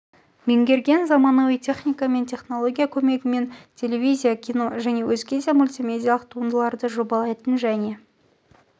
меңгерген заманауи техника мен технология көмегімен телевизия кино және өзге де мультимедиалық туындыларды жобалайтын және